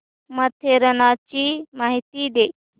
माथेरानची माहिती दे